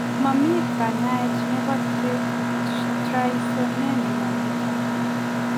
Mamii kanyaet nepo traisonemia netai?